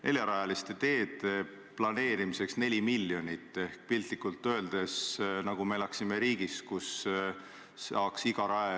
See konstruktsioon, mis te ütlesite, et Helir-Valdor Seeder võttis meilt ära pensionisamba, see ei vasta selles mõttes tõele, et mina kindlasti ütlen ka sel hetkel – no kui see pensionisüsteem peab paika –, et vabatahtlikuna mina jätkan.